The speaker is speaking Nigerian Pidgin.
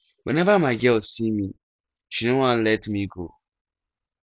whenever my girl see me she no wan let me go